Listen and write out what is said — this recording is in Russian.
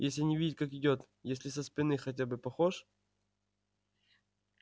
если не видеть как идёт если со спины хотя бы похож